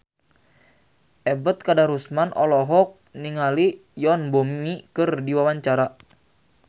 Ebet Kadarusman olohok ningali Yoon Bomi keur diwawancara